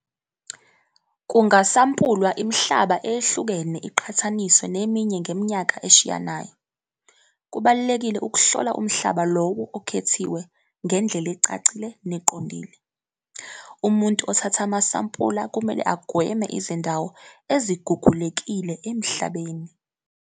Kungasampulwa imihlaba eyehlukene iqhathaniswa neminye ngeminyaka eshiyanayo. Kubalulekile ukuhlola umhlaba lowo okhethiwe ngendlela ecacile neqondile. Umuntu othatha amasampula kumele agweme izindawo ezigugulekile emhlabeni.